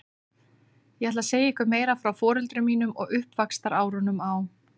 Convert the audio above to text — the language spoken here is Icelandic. Ég ætla að segja ykkur meira frá foreldrum mínum og uppvaxtarárunum á